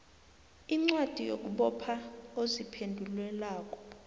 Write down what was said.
incwadi yokubopha oziphendulelako